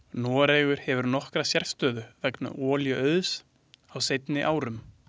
Noregur hefur nokkra sérstöðu vegna olíuauðs á seinni árum.